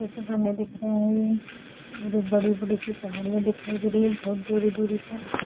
जैसे बने दिख रहे है ये और ये बड़ी-बड़ी सी पहाड़ियाँ दिखाई दे रही है बहोत दूरी-दूरी पर--